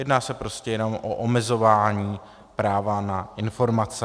Jedná se prostě jenom o omezování práva na informace.